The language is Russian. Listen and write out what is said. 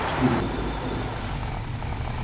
а что он такое натворил